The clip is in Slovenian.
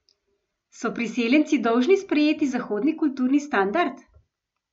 So priseljenci dolžni sprejeti zahodni kulturni standard?